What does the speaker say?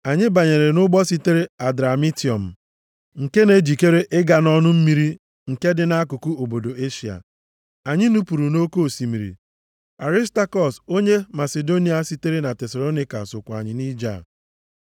Anyị banyere nʼụgbọ sitere Adramitiọm nke na-ejikere ịga nʼọnụ mmiri nke dị nʼakụkụ obodo Eshịa. Anyị nupuru nʼoke osimiri, Arịstakọs, onye Masidonia sitere na Tesalonaịka sokwa anyị nʼije a.